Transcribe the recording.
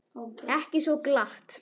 Ekki svo glatt.